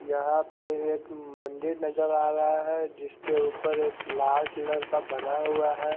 यहा पर एक मंदिर नजर आ रहा है जिसके उपर एक लाल कलर का बना हुआ है।